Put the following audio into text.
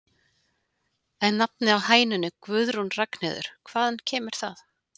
En nafnið á hænunni Guðrún Ragnheiður, hvaðan kemur það?